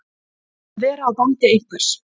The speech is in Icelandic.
Að vera á bandi einhvers